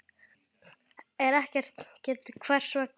er ekkert getið hvers vegna.